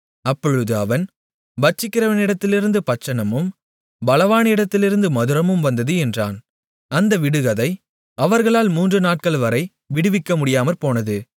அப்பொழுது அவன் பட்சிக்கிறவனிடத்திலிருந்து பட்சணமும் பலவானிடத்திலிருந்து மதுரமும் வந்தது என்றான் அந்த விடுகதை அவர்களால் மூன்று நாட்கள்வரை விடுவிக்கமுடியாமற்போனது